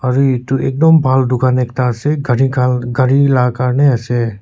aru edu ekdum bhal dukan ekta ase gari kal garila karniase.